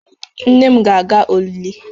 Nne m ga-aga olili